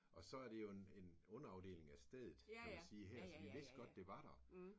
Og så er det jo en en underafdeling af stedet kan man sige her så vi vidste godt det var der